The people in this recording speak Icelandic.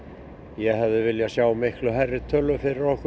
ég hefði viljað sjá miklu hærri tölu fyrir okkur